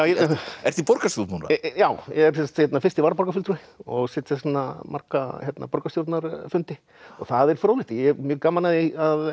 ert í borgarstjórn núna já er fyrsti varaborgarfulltrúi og sit þess vegna marga borgarstjórnarfundi það er fróðlegt og ég hef gaman af því